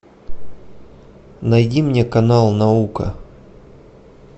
найди мне канал наука